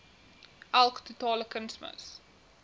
elk totale kunsmis